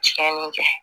Tiɲɛni kɛ